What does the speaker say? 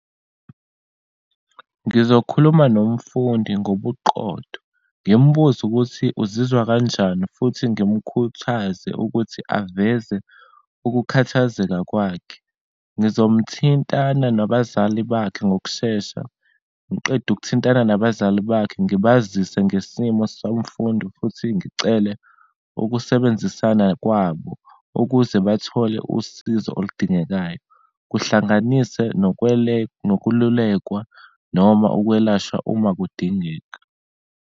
Ngizokhuluma nomfundi ngobuqotho, ngimbuze ukuthi uzizwa kanjani, futhi ngimkhuthaze ukuthi aveze ukukhathazeka kwakhe. Ngizomthinthana nabazali bakhe ngokushesha, ngiqede ukuthintana nabazali bakhe, ngibazise ngesimo somfundi, futhi ngicele ukusebenzisana kwabo ukuze bathole usizo oludingekayo, kuhlanganise nokululekwa noma ukwelashwa uma kudingeka.